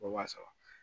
Wa saba